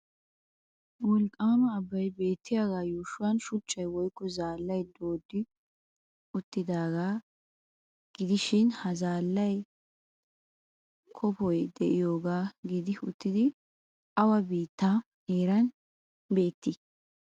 Wolqqaama abbay beettiyagaa yuushuwan shuchchay woykko zaallay dooddi uttidaagaa gidishi ha zaallay kofoy de'iyogaa gidi uttidi awa biittaa heeran beettiyabee?